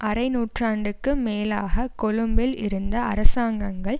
அரை நூற்றாண்டுக்கு மேலாக கொழும்பில் இருந்த அரசாங்கங்கள்